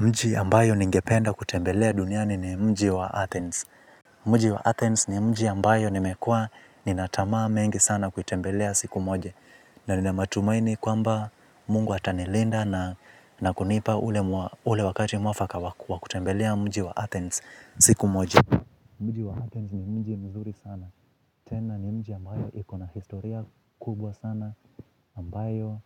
Mji ambayo ningependa kutembelea duniani ni mji wa Athens. Mji wa Athens ni mji ambayo nimekuwa nina tamaa mengi sana kuitembelea siku moja. Na nina matumaini kwamba mungu atanilinda na kunipa ule wakati mwafaka wa kutembelea mji wa Athens siku moja. Mji wa Athens ni mji mzuri sana. Tena ni mji ambayo iko na historia kubwa sana ambayo